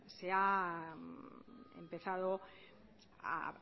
se ha empezado a